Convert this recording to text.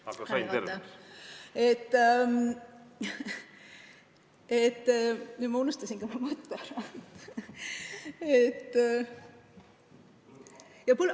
Aga nüüd ma unustasin oma mõtte ära.